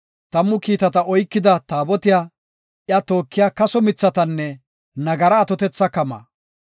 Tammu kiitata oykida Taabotiya, iya tookiya kaso mithatanne nagara atotetha kamaa,